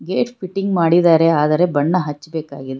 Gate fitting ಮಾಡಿದಾರೆ ಆದರೆ ಬಣ್ಣ ಹಚ್ಬೆಕಾಗಿದೆ.